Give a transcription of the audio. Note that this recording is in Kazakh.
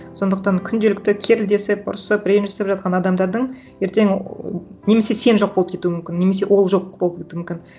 сондықтан күнделікті керілдесіп ұрысып ренжісіп жатқан адамдардың ертең немесе сен жоқ болып кетуің мүмкін немесе ол жоқ болып кетуі мүмкін